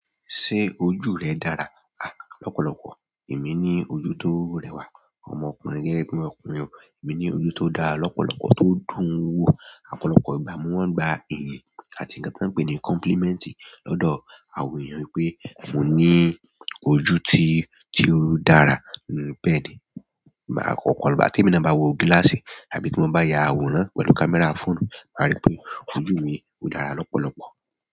Ṣé ojú rẹ̀ dára lọ́pọ̀lọpọ̀? Èmi ní ojú tó rẹwà. Ọmọkùnrin gẹ́gẹ́ bí ọkùnrin o, èmi ní ojú tó dára lọ́pọ̀lọ́pọ̀ tó dùn-ún wò. Ọ̀pọ̀lọpọ̀ ìgbà ni mo máa ń gba ìyìn àti ohun tí wọ́n ń pè ní compliment lọ́dọ̀ àwọn èèyàn pé mo ní ojú tí ó dára. Hmm, bẹ́ẹ̀ ni, mo máa kọ́kọ́, ti èmi náà bá wo gíláàsì àbí tí mo bá ya àwòrán pẹ̀lú kámẹ́rà fóònù, máa rí i pé ojú mi ò dára lọ́pọ̀lọpọ̀.